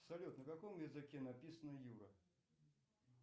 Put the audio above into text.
салют на каком языке написано юра